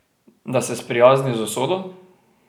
Da se sprijazni z usodo?